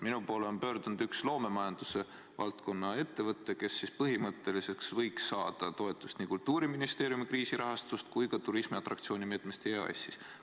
Minu poole on pöördunud üks loomemajanduse valdkonna ettevõte, kes põhimõtteliselt võiks saada toetust nii Kultuuriministeeriumi kriisirahastust kui ka turismiatraktsiooni meetme raames EAS-ist.